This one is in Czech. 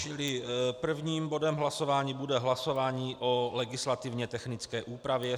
Čili prvním bodem hlasování bude hlasování o legislativně technické úpravě.